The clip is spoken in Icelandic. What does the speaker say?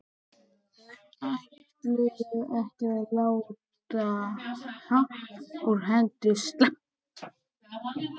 Þau ætluðu ekki að láta happ úr hendi sleppa.